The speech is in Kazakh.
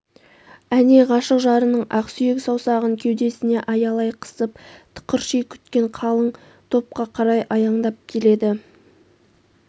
әне ғашық жарының ақсүйрк саусағын кеудесіне аялай қысып тықырши күткен қалың топқа қарай аяңдап келеді